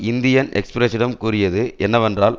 Indian எக்ஸ்பிரசிடம் கூறியது என்னவென்றால்